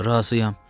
Razıyam.